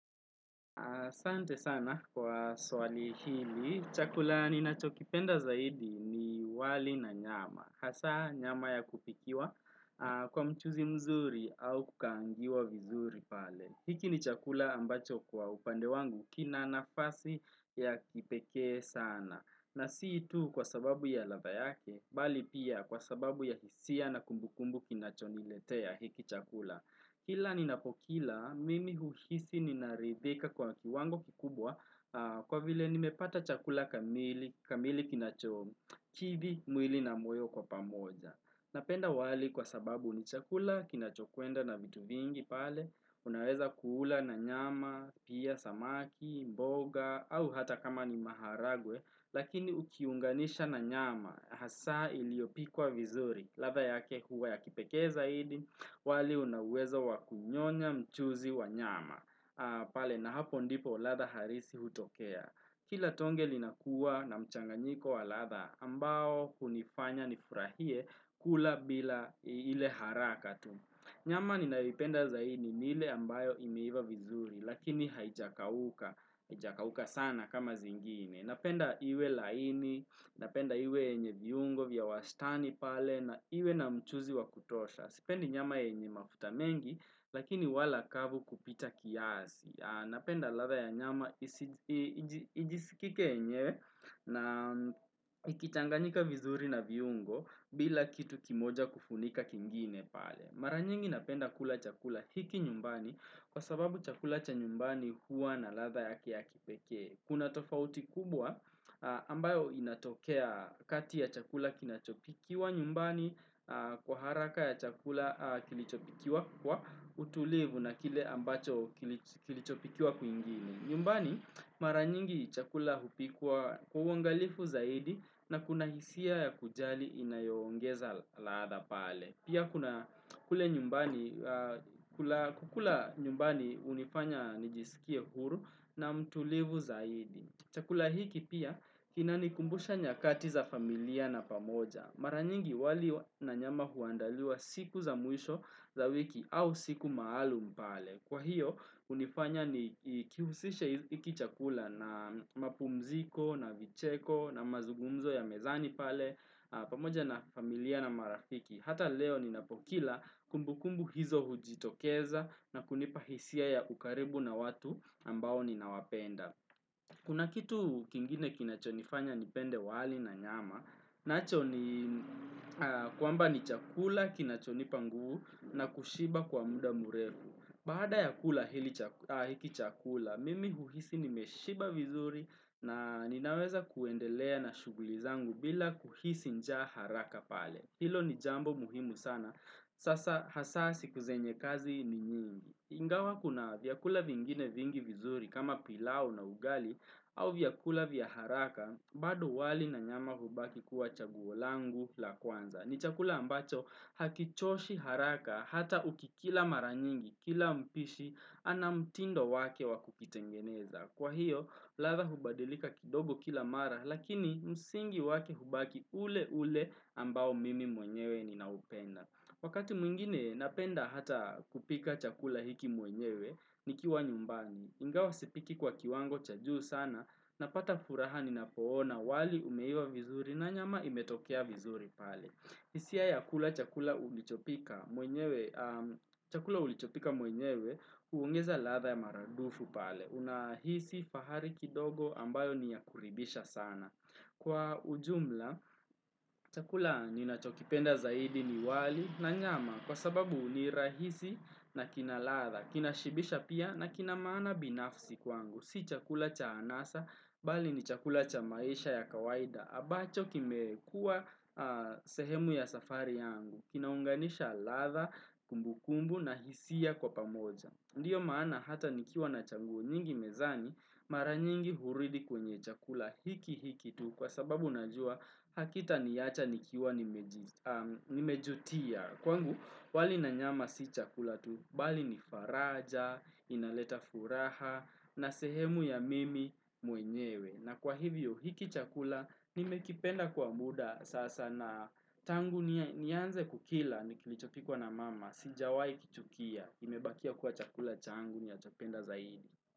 Sante sana kwa swali hili, chakula ni nacho kipenda zaidi ni wali na nyama. Hasa nyama ya kupikiwa kwa mchuzi mzuri au kukaangiwa vizuri pale. Hiki ni chakula ambacho kwa upande wangu kina nafasi ya kipekee sana. Na siitu kwa sababu ya ladha yake, bali pia kwa sababu ya hisia na kumbukumbu kinacho niletea hiki chakula. Kila ninapokila, mimi uhisi ninaridhika kwa kiwango kikubwa kwa vile nimepata chakula kamili, kamili kinachomu, kidhi mwili na moyo kwa pamoja. Napenda wali kwa sababu ni chakula kinachokwenda na vitu vingi pale, unaweza kuula na nyama, pia samaki, mboga, au hata kama ni maharagwe, Lakini ukiunganisha na nyama hasa iliopikwa vizuri latha yake huwa ya kipekee zaidi wali unauwezo wakunyonya mchuzi wa nyama pale na hapo ndipo latha harisi hutokea Kila tonge linakuwa na mchanganyiko wa latha ambao hunifanya nifurahie kula bila ile harakatu Nyama ni nalipenda zaidi ni ile ambayo imeiva vizuri lakini haijakauka sana kama zingine Napenda iwe laini, napenda iwe yenye viungo vya wastani pale na iwe na mchuzi wakutosha. Sipendi nyama yenye mafuta mengi lakini wala kavu kupita kiasi. Napenda latha ya nyama ijisikike yenyewe na ikitanganyika vizuri na viungo bila kitu kimoja kufunika kingine pale. Maranyingi napenda kula chakula hiki nyumbani kwa sababu chakula chanyumbani huwa na latha yake ya kipekee. Kuna tofauti kubwa ambayo inatokea kati ya chakula kinachopikiwa nyumbani kwa haraka ya chakula kilichopikiwa kwa utulivu na kile ambacho kilichopikiwa kwingine. Nyumbani maranyingi chakula hupikwa kuangalifu zaidi na kuna hisia ya kujali inayoongeza laadha pale. Pia kuna kule nyumbani kukula nyumbani unifanya nijisikie huru na mtulivu zaidi. Chakula hiki pia inani kumbusha nyakati za familia na pamoja. Maranyingi wali na nyama huandaliwa siku za mwisho za wiki au siku maalu m pale. Kwa hiyo unifanya ni kihusishe hiki chakula na mapumziko, na vicheko, na mazugumzo ya mezani pale, pamoja na familia na marafiki. Hata leo ninapokila kumbukumbu hizo hujitokeza na kunipahisia ya ukaribu na watu ambao ninawapenda. Kuna kitu kingine kinachonifanya nipende wali na nyama, nacho ni kwa mba ni chakula kinachonipa nguvu na kushiba kwa muda murefu. Baada ya kula hiki chakula, mimi uhisi nimeshiba vizuri na ninaweza kuendelea na shughulizangu bila kuhisi njaa haraka pale. Hilo ni jambo muhimu sana. Sasa hasaa siku zenye kazi ni nyingi. Ingawa kuna vyakula vingine vingi vizuri kama pilau na ugali au vyakula vya haraka bado wali na nyama hubaki kuwa chaguolangu la kwanza. Ni chakula ambacho hakichoshi haraka hata uki kila mara nyingi kila mpishi ana mtindo wake wakukitengeneza. Kwa hiyo, latha hubadilika kidogo kila mara, lakini msingi wake hubaki ule ule ambao mimi mwenyewe ninaupenda. Wakati mwingine, napenda hata kupika chakula hiki mwenyewe, nikiwa nyumbani. Ingawa sipiki kwa kiwango cha juu sana, napata furaha ninapoona, wali umeiva vizuri na nyama imetokea vizuri pale. Hisia ya kula chakula ulichopika chakula ulichopika mwenyewe uongeza latha ya maradufu pale. Unahisi fahari kidogo ambayo niyakuridhisha sana. Kwa ujumla, chakula nina chokipenda zaidi ni wali na nyama kwa sababu nirahisi na kinalatha. Kinashibisha pia na kinamaana binafsi kwangu. Si chakula cha anasa bali ni chakula cha maisha ya kawaida. Ambacho kime kuwa sehemu ya safari yangu, kinaunganisha latha, kumbu kumbu na hisia kwa pamoja. Ndiyo maana hata nikiwa na chaguo nyingi mezani, mara nyingi huridhi kwenye chakula hiki hiki tu kwa sababu najua hakita niacha nikiwa nimejutia. Kwangu, wali nanyama si chakula tu, bali ni faraja, inaleta furaha, na sehemu ya mimi mwenyewe. Na kwa hivyo, hiki chakula, nimekipenda kwa muda sasa na tangu nianze kukila, nikilichokikwa na mama, sijawai kichukia, imebakia kuwa chakula changu ninachopenda zaidi.